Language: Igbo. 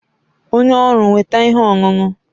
Onye ọrụ weta ihe ọṅụṅụ